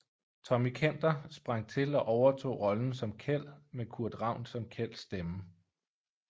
Tommy Kenter sprang til og overtog rollen som Kjeld med Kurt Ravn som Kjelds stemme